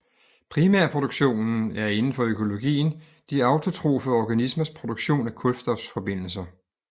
Primærproduktionen er inden for økologien de autotrofe organismers produktion af kulstofforbindelser